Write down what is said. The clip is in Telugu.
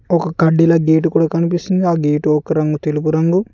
ఒక కడ్డీల గేటు కూడా కనిపిస్తుంది ఆ గేటు ఒక్క రంగు తెలుపు రంగు.